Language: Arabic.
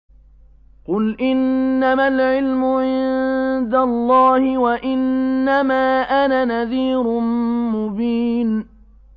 قُلْ إِنَّمَا الْعِلْمُ عِندَ اللَّهِ وَإِنَّمَا أَنَا نَذِيرٌ مُّبِينٌ